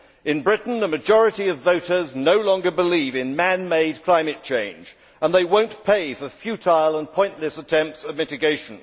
In Britain, a majority of voters no longer believe in man made climate change and they will not pay for futile and pointless attempts at mitigation.